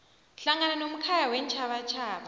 hlangana nomkhaya weentjhabatjhaba